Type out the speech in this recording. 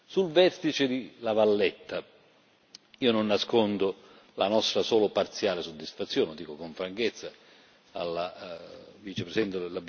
Sul vertice di La Valletta, io non nascondo la nostra solo parziale soddisfazione, lo dico con franchezza alla vicepresidente.